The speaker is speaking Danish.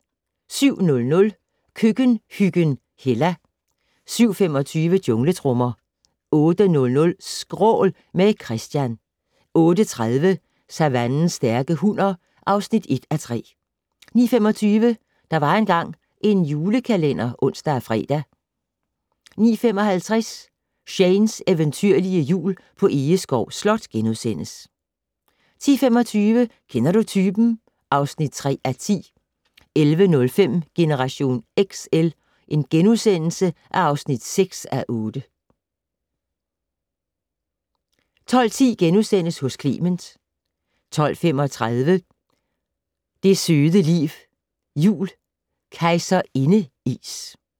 07:00: Køkkenhyggen Hella 07:25: Jungletrommer 08:00: Skrål - med Christian 08:30: Savannens stærke hunner (1:3) 09:25: Der var engang en julekalender (ons og fre) 09:55: Shanes eventyrlige Jul på Egeskov Slot * 10:25: Kender du typen? (3:10) 11:05: Generation XL (6:8)* 12:10: Hos Clement * 12:35: Det søde liv jul - Kejserindeis